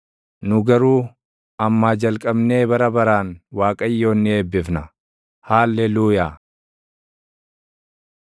nu garuu ammaa jalqabnee bara baraan Waaqayyoon ni eebbifna. Haalleluuyaa.